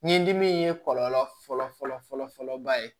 Ɲɛ dimi ye kɔlɔlɔ fɔlɔ fɔlɔ ba ye